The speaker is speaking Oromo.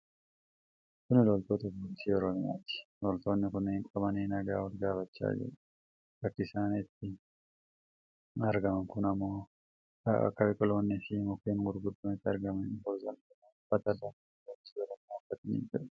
Kun loltuu poolisii Oromiyaati. Loltoonni kun qabanii nagaa wal gaafachaa jiru. Bakki isaan itti argaman kun ammoo bakka biqiloonni fi mukkeen gurguddoon itti argamanidha. Poolisoonni kunneen uffata dambii poolisii Oromiyaa uffatanii jiru.